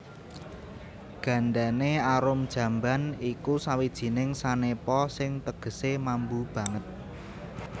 Gandane arum jamban iku sawijining sanepa sing tegesé mambu banget